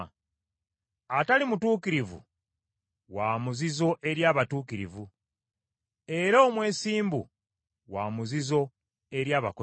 Atali mutuukirivu wa muzizo eri abatuukirivu; era omwesimbu wa muzizo eri abakozi b’ebibi.